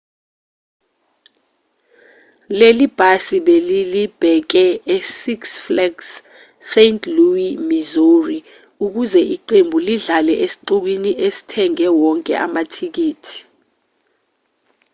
leli bhasi belilibheke e six flags st louis e-missouri ukuze iqembu lidlale esixukwini esithenge wonke amathikithi